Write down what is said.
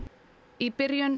í byrjun